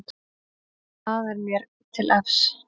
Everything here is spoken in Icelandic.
Það er mér til efs.